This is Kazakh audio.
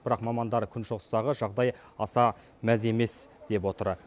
бірақ мамандар күншығыстағы жағдай аса мәз емес деп отыр